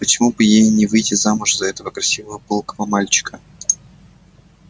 почему бы ей не выйти замуж за этого красивого пылкого мальчика